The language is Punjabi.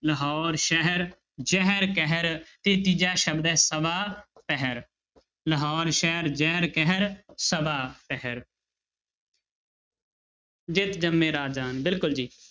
ਲਾਹੌਰ ਸ਼ਹਿਰ ਜ਼ਹਿਰ ਕਹਿਰ, ਤੇ ਤੀਜਾ ਸ਼ਬਦ ਹੈ ਸਵਾ ਪਹਰ, ਲਾਹੌਰ ਸ਼ਹਿਰ ਜ਼ਹਿਰ ਕਹਿਰ ਸਵਾ ਪਹਰ ਜਿਤੁ ਜੰਮੈ ਰਾਜਾਨ ਬਿਲਕੁਲ ਜੀ।